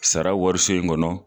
Sara wariso in kɔnɔ